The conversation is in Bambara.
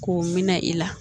K'o minɛ i la